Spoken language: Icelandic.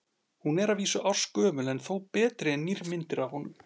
Hún er að vísu ársgömul en þó betri en nýrri myndir af honum.